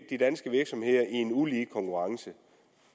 de danske virksomheder en ulig konkurrence